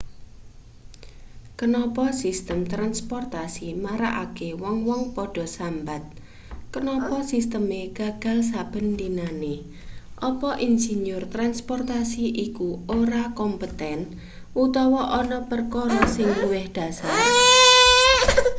kenapa sistem transportasi marakake wong-wong padha sambat kenapa sisteme gagal saben dinane apa insinyur transportasi iku ora kompeten utawa ana perkara sing luwih dhasar